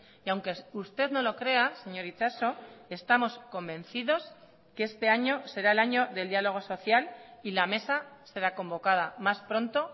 y aunque usted no lo crea señor itxaso estamos convencidos que este año será el año del diálogo social y la mesa será convocada más pronto